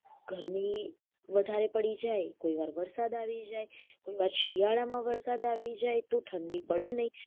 ગરમી વધારે પડી જાય કોઇવાર વરસાદ આવી જાય કોઇવાર શિયાળા માં વરસાદ આવી જાય તો ઠંડી પડે નઈ